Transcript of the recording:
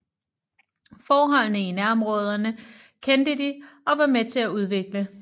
Forholdene i nærområderne kendte de og var med til at udvikle